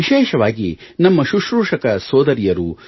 ವಿಶೇಷವಾಗಿ ನಮ್ಮ ಸುಶ್ರೂಷಕ ಸೋದರಿಯರು